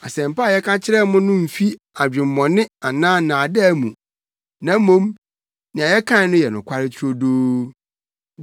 Asɛmpa a yɛka kyerɛɛ mo no mfi adwemmɔne anaa nnaadaa mu, na mmom, nea yɛkae no yɛ nokware turodoo.